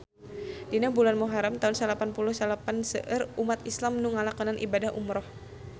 Dina bulan Muharam taun salapan puluh salapan seueur umat islam nu ngalakonan ibadah umrah